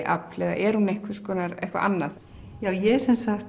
afl eða er hún einhvers konar eitthvað annað ég